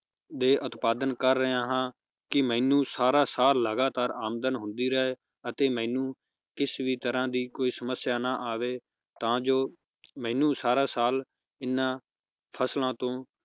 ਦੇ ਉਤਪਾਦਨ ਕਰ ਰਿਹਾ ਹਾਂ, ਕਿ ਮੈਨੂੰ ਸਾਰਾ ਸਾਲ ਲਗਾਤਾਰ ਆਮਦਨ ਹੁੰਦੀ ਰਹੇ ਅਤੇ ਮੈਨੂੰ ਕਿਸ ਵੀ ਤਰਾਹ ਦੀ ਕੋਈ ਸਮਸਿਆ ਨਾ ਆਵੇ ਤਾਂ ਜੋ ਮੈਨੂੰ ਸਾਰਾ ਸਾਲ ਇਹਨਾਂ ਫਸਲਾਂ ਤੋਂ